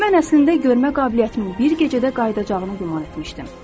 Mən əslində görmə qabiliyyətimin bir gecədə qayıdacağını güman etmişdim.